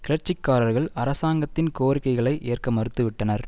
கிளர்ச்சிக்காரர்கள் அரசாங்கத்தின் கோரிக்கைகளை ஏற்க மறுத்துவிட்டனர்